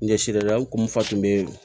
N ɲɛsirila n kun fa kun bɛ